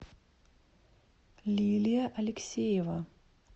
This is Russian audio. лилия алексеева